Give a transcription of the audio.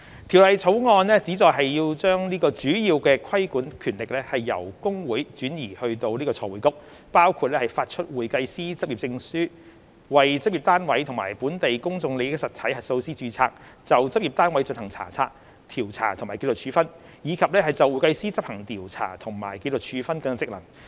《條例草案》旨在將主要規管權力由公會轉移至財匯局，包括發出會計師執業證書；為執業單位及本地公眾利益實體核數師註冊；就執業單位進行查察、調查和紀律處分；以及就會計師執行調查和紀律處分職能。